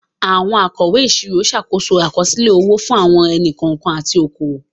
Àwọn akọ̀wé ìṣirò ń ṣàkóso àkọsílẹ̀ owó fún àwọn ẹni-kọ̀ọ̀kan àti okòwò.